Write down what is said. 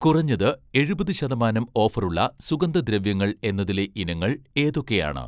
കുറഞ്ഞത് എഴുപത് ശതമാനം ഓഫറുള്ള സുഗന്ധദ്രവ്യങ്ങൾ എന്നതിലെ ഇനങ്ങൾ ഏതൊക്കെയാണ്?